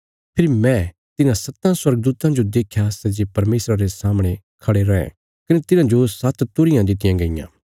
फेरी मैं तिन्हां सत्तां स्वर्गदूतां जो देख्या सै जे परमेशरा रे सामणे खड़े रैं कने तिन्हांजो सात्त तुरहियां दित्तियां गईयां